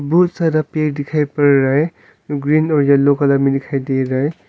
बहुत सारा पेर दिखाई पड़ रहा है ग्रीन और येलो कलर मे दिखाई दे रहा है।